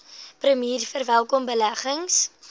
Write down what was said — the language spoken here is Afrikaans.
premier verwelkom beleggings